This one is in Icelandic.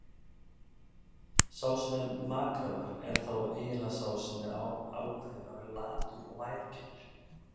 Sá sem er makráður er þá eiginlega sá sem ákveður að vera latur og værukær.